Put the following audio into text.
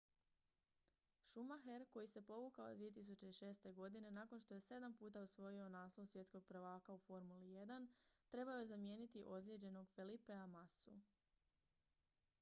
schumacher koji se povukao 2006. godine nakon što je sedam puta osvojio naslov svjetskog prvaka u formuli 1 trebao je zamijeniti ozlijeđenog felipea massu